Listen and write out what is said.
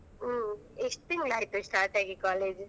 ಹ್ಮ್ ಎಷ್ಟ್ ತಿಂಗ್ಳ್ ಆಯ್ತ್ start ಆಗಿ college .